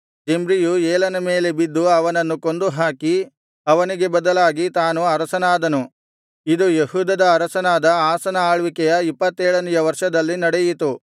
ಜಿಮ್ರಿಯು ಏಲನ ಮೇಲೆ ಬಿದ್ದು ಅವನನ್ನು ಕೊಂದು ಹಾಕಿ ಅವನಿಗೆ ಬದಲಾಗಿ ತಾನು ಅರಸನಾದನು ಇದು ಯೆಹೂದದ ಅರಸನಾದ ಆಸನ ಆಳ್ವಿಕೆಯ ಇಪ್ಪತ್ತೇಳನೆಯ ವರ್ಷದಲ್ಲಿ ನಡೆಯಿತು